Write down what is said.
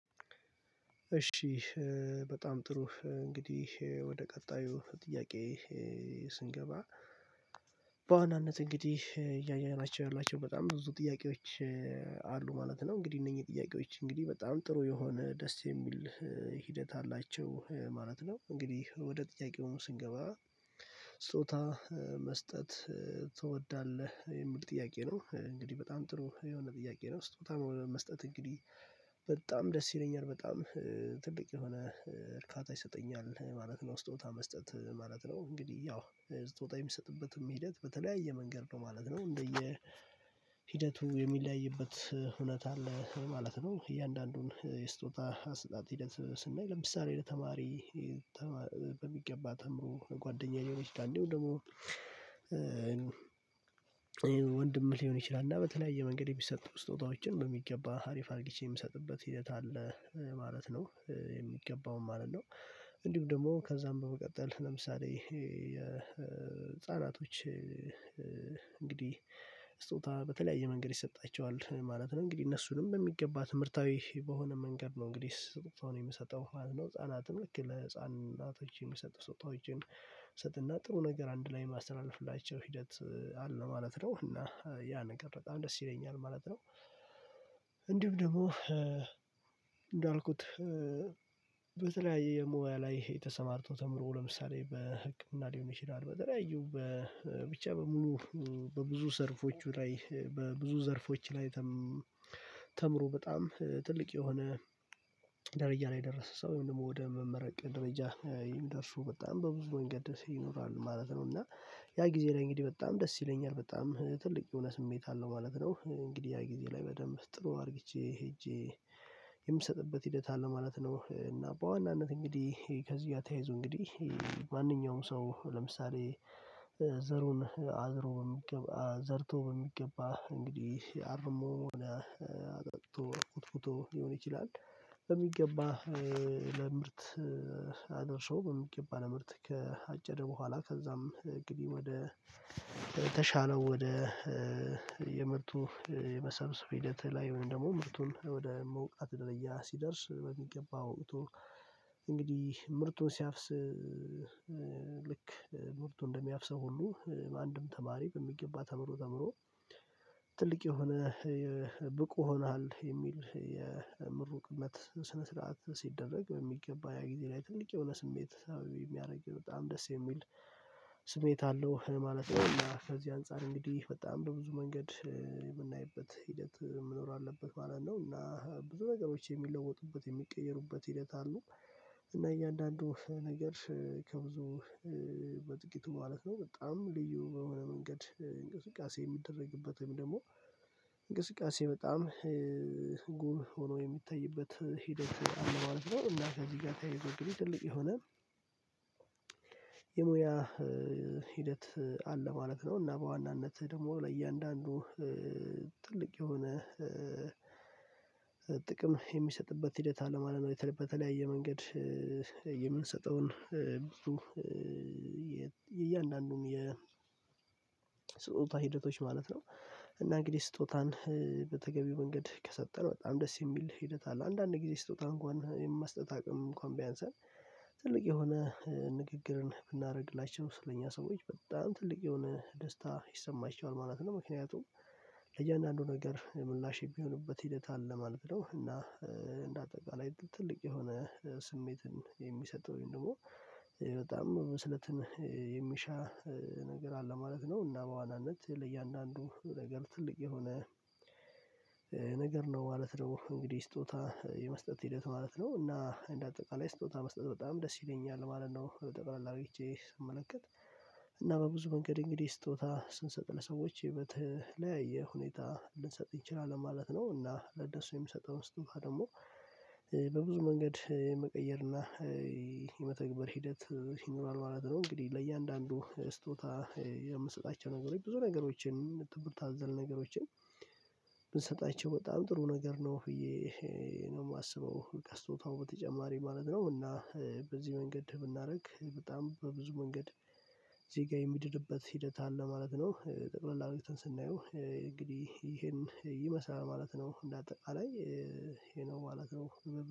እሺ። በጣም ጥሩ እንግዲህ ወደ ቀጣዩ ጥያቄ ስንገባ በዋናነት እንግዲህ እያየናቸው ያላቸው በጣም ብዙ ጥያቄዎች አሉ ማለት ነው። እንግዲህ እነኚህ ጥያቄዎች እንግዲህ በጣም ጥሩ የሆነ ደስ የሚል ሂደት አላቸው ማለት ነው። እንግዲህ ወደ ጥያቄው ስንገባ ጾታ መስጠት ትወዳለህ የሚል ጥያቄ ነው። እንግዲህ በጣም ጥሩ የሆነ ጥያቄ ነው ስትመጣ ነው መስጠት እንግዲህ በጣም ደስ ይለኛል በጣም ትልቅ የሆነ እርካታ ይሰጠኛል ማለት ነው። ስጦታ መስጠት ማለት ነው እንግዲህ ያው ስጦታ የሚሰጥበትም ሂደት በተለያየ መንገድ ነው ማለት ነው። እንደየ ሂደቱ የሚለያይበት እውነት አለ ማለት ነው። እያንዳንዱን የስጦታ አሰጣጥ ሂደት ስናይ ለምሳሌ ተማሪ በሚገባ ተምሮ ጓደኛዬ ሊሆን ይችላል እንዴው ደግሞ ወንድም ሊሆን ይችላል እና በተለያየ መንገድ የሚሰጥ ስጦታዎችን በሚገባ ሀሪፍ አርጊቼ የሚሰጥበት ሂደት አለ ማለት ነው። የሚገባውን ማለት ነው። እንዲሁም ደግሞ ከዛም በመቀጠል ለምሳሌ የህፃናቶች ህፃናቶች እንግዲህ ስጦታ በተለያየ መንገድ ይሰጣቸዋል ማለት ነው። እንግዲህ እነሱንም በሚገባ ትምህርታዊ በሆነ መንገድ ነው እንግዲህ ስጦታውን የምሰጠው ህፃናትን ልክ ለህፃናቶች የሚሰጡ ስውጣዎችን ሰጥና ጥሩ ነገር አንድ ላይ የማስተላልፍላቸው ሂደት አለ ማለት ነው። እና ያ ነገር በጣም ደስ ይለኛል ማለት ነው። እንዲሁም ደግሞ እንዳልኩት በተለያየ የሞያ ላይ ተሰማርቶ ተምሮ ለምሳሌ በህክምና ሊሆን ይችላል በተለያዩ በብቻ በሙሉ በብዙ ዘርፎቹ ላይ በብዙ ዘርፎች ላይ ተምሮ በጣም ትልቅ የሆነ ደረጃ ላይ የደረሰ ሰው ወይም ደግሞ ወደ መመረቅ ደረጃ የሚደርሱ በጣም በብዙ መንገድ ደስ ይኖራል ማለት ነው። እና ያ ጊዜ እንግዲህ በጣም ደስ ይለኛል በጣም ትልቅ የሆነ ስሜት አለው ማለት ነው። እንግዲህ ያ ጊዜ ላይ በደንብ ጥሩ አድርጌ ሄጄ የምሰጥበት ሂደት አለው ማለት ነው። እና በዋናነት እንግዲህ ከዚህ እያተያይዙ እንግዲህ ማንኛውም ሰው ለምሳሌ ዘሩን አዝሮ በሚገባ ዘርቶ በሚገባ እንግዲህ አርሞ አጠጥቶ ኮትኩቶ ሊሆን ይችላል። በሚገባ ለምርት አገርሶ በሚገባ ምርት ከአጨደ በኋላ ከዛም ግቢ ወደ ተሻለው ወደ የምርቱ የመሰብሰብ ሂደት ላይ ወይም ደግሞ ምርቱን ወደ መውቃት ደረጃ ሲደርስ በሚገባው እቶን እንግዲህ ምርቱን ሲያፍስ ልክ ምርቱን እንደሚያፍሰው ሁሉ በአንድም ተማሪ በሚገባ ተምሮ ተምሮ ትልቅ የሆነ ብቁ ሆኗል የሚል የምሩቅነት ስነ ስርዓት ሲደረግ በሚገባ ያ ጊዜ ላይ ትልቅ የሆነ ስሜት የሚያደርጊው በጣም ደስ የሚል ስሜት አለው ማለት ነው። እና ከዚህ አንፃር እንግዲህ በጣም በብዙ መንገድ የምናይበት ሂደት መኖር አለበት ማለት ነው። እና ብዙ ነገሮች የሚለወጡበት የሚቀየሩበት ሂደት አሉ እና እያንዳንዱ ነገር ከብዙ በጥቂት ማለት ነው በጣም ልዩ በሆነ መንገድ እንቅስቃሴ የሚደረግበትም ደግሞ እንቅስቃሴ በጣም ጉም ሆኖ የሚታይበት ሂደት አለው። አልዚመር እና እዚህ ጋር ተያይዞ እንግዲህ ትልቅ የሆነ የሙያ ሂደት አለ ማለት ነው። እና በዋናነትህ ደግሞ ለእያንዳንዱ ጥልቅ የሆነ ጥቅም የሚሰጥበት ሂደት አለ ማለት በተለያየ መንገድ የምንሰጠውን ብዙ የእያንዳንዱም የ የስጦታ ሂደቶች ማለት ነው። እና እንግዲህ ስጦታን በተገቢው መንገድ ከሰጠን በጣም ደስ የሚል ሂደት አለ። አንዳንድ ጊዜ ስጦታ እንኳን የማስጠጥ አቅም እንኳን ቢያንስል ትልቅ የሆነ ንግግርን ብናደርግላችሁ ስለኛ ሰዎች በጣም ትልቅ የሆነ ደስታ ይሰማችኋል ማለት ነው። ምክንያቱም ለእያንዳንዱ ነገር ምላሽ የሚሆኑበት ሂደት አለ ማለት ነው። እና እንደ አጠቃላይ ትልቅ የሆነ ስሜትን የሚሰጠውን ደግሞ በጣም መስለትን የሚሻ ነገር አለ ማለት ነው። እና በዋናነት ለእያንዳንዱ ነገር ትልቅ የሆነ ነገር ነው ማለት ደግሞ እንግዲህ ስጦታ የመስጠት ሂደት ማለት ነው። እና እንደ አጠቃላይ ስጦታ መስጠት በጣም ደስ ይለኛል ማለት ነው። ጠቅላላ ሄጄ ስመለከት እና በብዙ መንገድ እንግዲህ ስጦታ ስንሰጥ ለሰዎች የህይወት ላይ የሁኔታ ልንሰጥ ይችላል ማለት ነው። እና ለነሱ የምሰጠውን ስቱባ ደግሞ በብዙ መንገድ የመቀየርና የመተግበር ሂደት ይኖራል ማለት ነው። እንግዲህ ለእያንዳንዱ ስጦታ የምንሰጣቸው ነገሮች ብዙ ነገሮችን ትምርት አዘል ነገሮችን ብንሰጣቸው በጣም ጥሩ ነገር ነው እየ ነው የማስበው ከስጦታው በተጨማሪ ማለት ነው። እና በዚህ መንገድ ብናደርግ በጣም በብዙ መንገድ እዚህ ጋር የሚደርብበት ሂደት አለ ማለት ነው። ጠቅለል አድርገን ስናየው እንግዲህ ይሄን ይመስላል ማለት ነው። እንደ አጠቃላይ ይሄ ነው ማለት ነው።